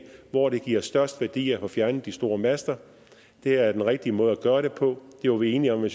hvor det giver størst værdi at få fjernet de store master det er den rigtige måde at gøre det på det var vi enige med